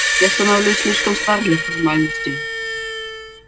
я становлюсь слишком стар для формальностей